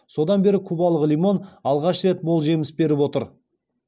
содан бері кубалық лимон алғаш рет мол жеміс беріп отыр